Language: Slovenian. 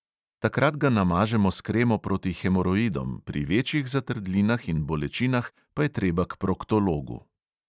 Takrat ga namažemo s kremo proti hemoroidom, pri večjih zatrdlinah in bolečinah pa je treba k proktologu.